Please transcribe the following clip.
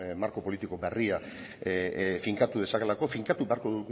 marko politiko berria finkatu dezakeelako finkatu beharko